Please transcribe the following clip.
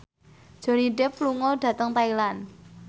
Johnny Depp lunga dhateng Thailand